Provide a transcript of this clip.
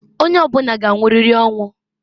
Onye ọbụna g'anwụrịrị ọnwụ.